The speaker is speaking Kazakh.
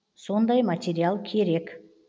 сондай материал керек